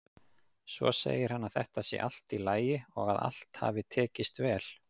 Svo segir hann að þetta sé allt í lagi og að allt hafi tekist vel.